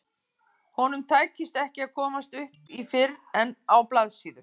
Honum tækist ekki að komast upp í fyrr en á blaðsíðu